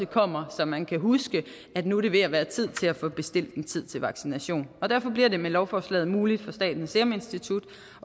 kommer så man husker at nu er det ved at være tid til at få bestilt en tid til vaccination derfor bliver det med lovforslaget muligt for statens serum institut